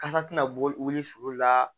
Kasa tɛna wuli sulu la